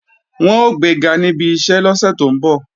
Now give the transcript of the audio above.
Wọn ó gbega níbi iṣẹ́ lọ́sẹ̀ tó ń bọ̀